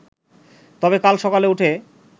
তবে কাল সকালে উঠে